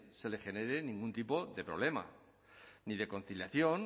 se le genere ningún tipo de problema ni de conciliación